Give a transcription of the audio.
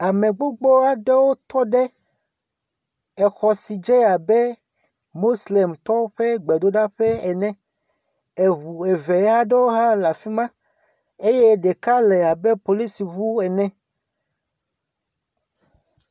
Awusatɔ gbogbo aɖewo tɔ ɖe exɔ si dze abe moslemtɔwo ƒe gbedoɖaƒe ene, ŋu eve aɖewo hã le afi ma eye ɖeka le abe polisi ŋu ene.